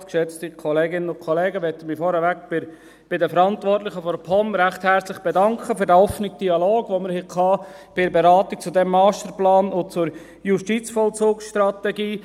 Ich möchte mich vorweg recht herzlich bei den Verantwortlichen der POM bedanken für den offenen Dialog, den wir bei der Beratung dieses Masterplans zur JVS hatten.